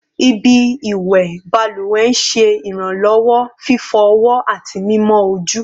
Ibi iwẹ baluwe n ṣe iranlọwọ fifọ ọwọ ati mimọ oju